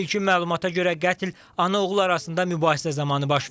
İlkin məlumata görə qətl ana-oğul arasında mübahisə zamanı baş verib.